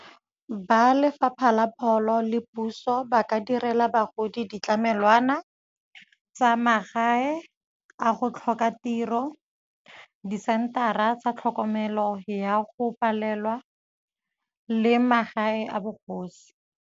Ba Lefapha la Pholo le puso, ba ka direla bagodi ditlamelwana tsa magae a go tlhoka tiro, disentara tsa tlhokomelo ya go palelwa le magae a bogosi.